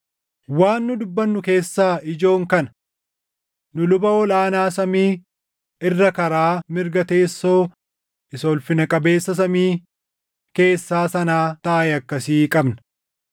Waan nu dubbannu keessaa ijoon kana: Nu luba ol aanaa samii irra karaa mirga teessoo Isa Ulfina Qabeessa Samii keessaa sanaa taaʼe akkasii qabna.